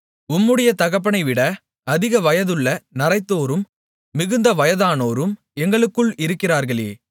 உம்முடைய தகப்பனைவிட அதிக வயதுள்ள நரைத்தோரும் மிகுந்த வயதானோரும் எங்களுக்குள் இருக்கிறார்களே